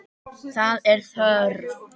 Það er þörf.